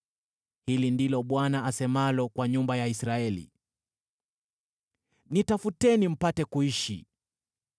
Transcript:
Hili ndilo Bwana asemalo kwa nyumba ya Israeli: “Nitafuteni mpate kuishi;